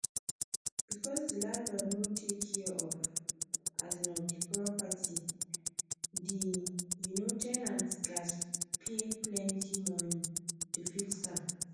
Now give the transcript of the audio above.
because the landlord no take care um of the property the um ten ant gatz pay plenty money to fix am